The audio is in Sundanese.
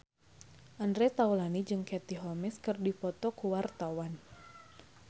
Andre Taulany jeung Katie Holmes keur dipoto ku wartawan